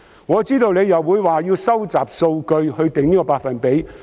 我知道局長又會推說要收集數據來釐定該百分比。